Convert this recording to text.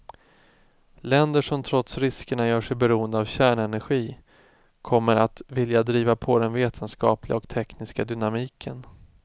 Länder som trots riskerna gör sig beroende av kärnenergi kommer att vilja driva på den vetenskapliga och tekniska dynamiken.